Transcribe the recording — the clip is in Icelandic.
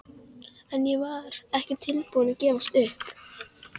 En ég var ekki tilbúin að gefast upp.